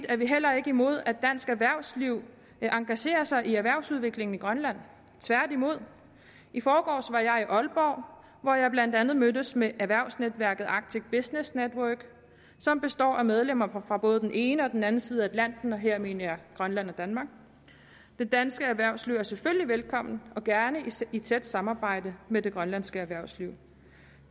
er vi heller ikke imod at dansk erhvervsliv engagerer sig i erhvervsudviklingen i grønland tværtimod i forgårs var jeg i aalborg hvor jeg blandt andet mødtes med erhvervsnetværket arctic business network som består af medlemmer fra både den ene og den anden side af atlanten og her mener jeg grønland og danmark det danske erhvervsliv er selvfølgelig velkommen og gerne i tæt samarbejde med det grønlandske erhvervsliv